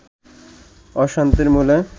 অশান্তির মূলে